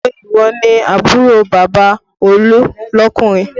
Ṣé ìwọ ni àbúrò bàbá Olú lọkunrin?